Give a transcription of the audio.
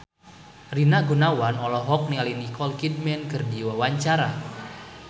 Rina Gunawan olohok ningali Nicole Kidman keur diwawancara